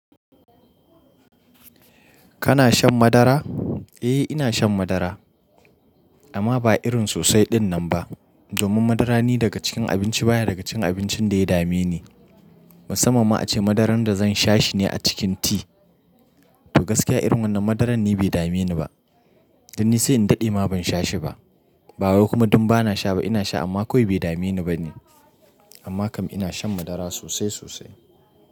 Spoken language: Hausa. Kana shan madara? Eh ina shan madara amma ba irin sosai ɗinnan ba. Domin madara ni daga cikin abinci baya daga cikin abincin da ya dame ni. Musamman ma a ce madaran da zan sha shi ne a cikin ti. To gaskiya irin wannan madaran ni bai dame ni ba. Dan nisai in daɗe ma ban sha shi ba. Ba wai kuma dun bana sha ba ina sha amma kawai bai dame ni ba ne. Amma kam ina shan madara sosai sosai.